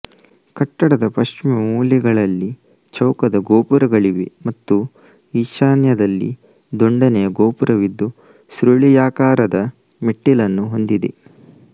ಕಟ್ಟಡದ ಪಶ್ಚಿಮ ಮೂಲೆಗಳಲ್ಲಿ ಚೌಕದ ಗೋಪುರಗಳಿವೆ ಮತ್ತು ಈಶಾನ್ಯದಲ್ಲಿ ದುಂಡನೆಯ ಗೋಪುರವಿದ್ದು ಸುರುಳಿಯಾಕಾರದ ಮೆಟ್ಟಿಲನ್ನು ಹೊಂದಿದೆ